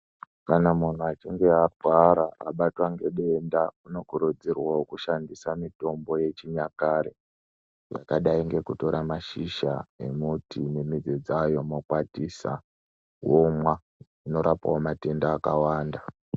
Kana munhu achinge agwara abatwa nge denda uno kurudzirwawo kushandisa mitombo yechi nyakare yakadai ngeku tora mashizha e muti ne midzi dzayo mokwatisa womwa ino rapawo matenda akawanda.